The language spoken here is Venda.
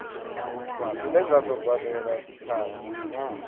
dzine dza do badelwa dzithanzi